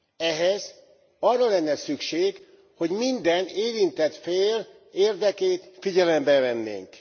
Ehhez arra lenne szükség, hogy minden érintett fél érdekét figyelembe vennénk.